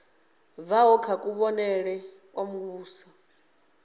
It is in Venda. bvaho kha kuvhonele kwa muvhuso